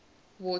water